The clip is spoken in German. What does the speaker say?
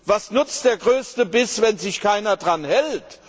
Was nützt der größte Biss, wenn sich keiner daran hält.